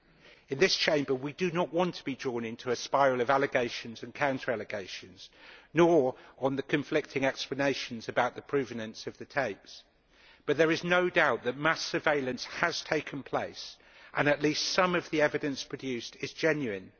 We, in this Chamber, do not want to be drawn into a spiral of allegations and counter-allegations, nor into the conflicting explanations about the provenance of the tapes but there is no doubt that mass surveillance has taken place and that at least some of the evidence produced is genuine.